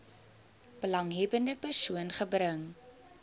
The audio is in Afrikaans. belanghebbende persoon gebring